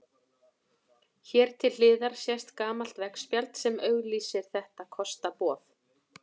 Hér til hliðar sést gamalt veggspjald sem auglýsir þetta kostaboð.